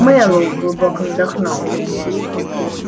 мэллоу глубоко вздохнул